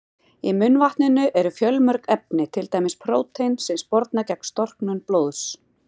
Í munnvatninu eru fjölmörg efni, til dæmis prótín sem sporna gegn storknun blóðs.